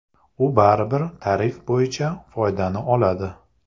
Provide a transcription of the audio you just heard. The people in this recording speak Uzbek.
U baribir tarif bo‘yicha foydani oladi.